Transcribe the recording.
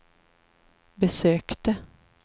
besökte